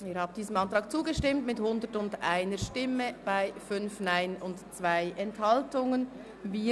Sie haben diesem Ordnungsantrag auf freie Debatte mit 101 Ja- gegen 5 Nein-Stimmen bei 2 Enthaltungen zugestimmt.